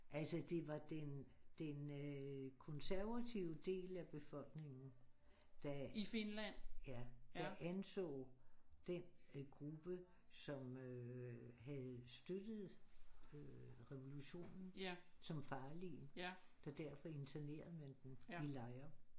Altså det var den den konservative del af befolkningen der ja der anså den gruppe som øh havde støtte revolutionen som farlige så derfor internerede man dem i lejre